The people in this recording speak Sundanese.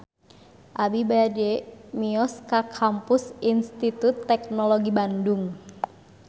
Abi bade mios ka Kampus Institut Teknologi Bandung